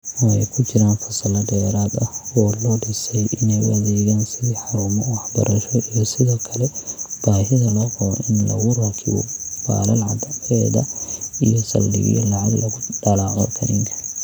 Oo ay ku jiraan fasallo dheeraad ah oo loo dhisay inay u adeegaan sidii 'xarumo-waxbarasho' iyo sidoo kale baahida loo qabo in lagu rakibo baalal cadceedda iyo saldhigyo lacag lagu dallaco kiniinka.